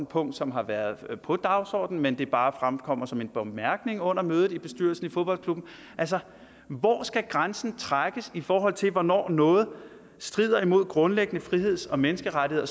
punkt som har været på dagsordenen men bare er fremkommet som en bemærkning under mødet i bestyrelsen i fodboldklubben altså hvor skal grænsen trækkes i forhold til hvornår noget strider imod grundlæggende friheds og menneskerettigheder